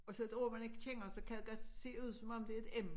Og så et ord man ikke kender så kan det godt se ud som om det er et m